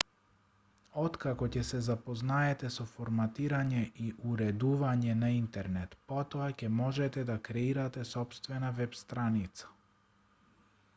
откако ќе се запознаете со форматирање и уредување на интернет потоа ќе можете да креирате сопствена веб-страница